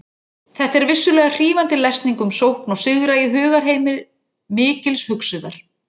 Þetta er vissulega hrífandi lesning um sókn og sigra í hugarheimi mikils hugsuðar.